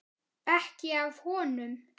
Ekki af honum.